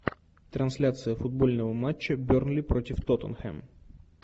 трансляция футбольного матча бернли против тоттенхэм